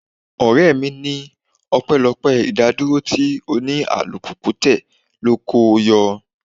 Ọ̀rẹ́ mi ní ọpẹlọpé idakoduro tí òní - alùpùpù tẹ ló ko o yọ.